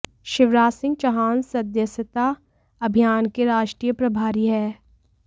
शिवराज सिंह चौहान सदस्यता अभियान के राष्ट्रीय प्रभारी हैं